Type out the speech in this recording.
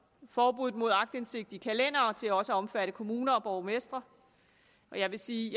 forbuddet mod aktindsigt i kalendere til også at omfatte kommuner og borgmestre og jeg vil sige